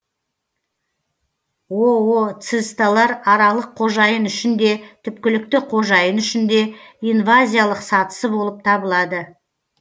ооцисталар аралық қожайын үшін де түпкілікті қожайын үшін де инвазиялық сатысы болып табылады